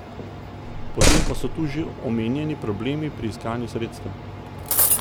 Potem pa so tu že omenjeni problemi pri iskanju sredstev.